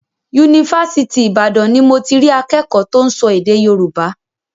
Yunifásitì Ìbàdàn ni mo ti rí akẹ́kọ̀ọ́ tó ń sọ èdè Yorùbá.